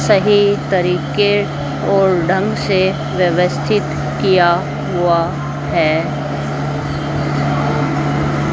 सही तरीके और ढंग से व्यवस्थित किया हुआ है।